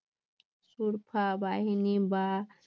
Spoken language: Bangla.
বাহিনী বা